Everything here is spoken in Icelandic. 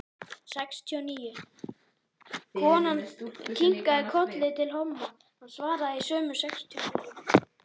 Konan kinkaði kolli til Valdimars, hann svaraði í sömu mynt.